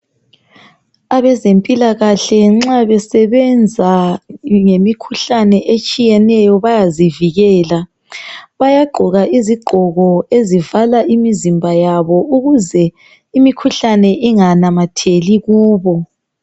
Abezempilakahle nxa besebenza ngemikhuhlane etshiyeneyo bayazivikela . Bayagqoka izigqoko ezivala imizimba yabo ukuze imikhuhlane inganamatheli kubo.